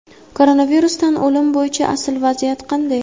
Koronavirusdan o‘lim bo‘yicha asl vaziyat qanday?.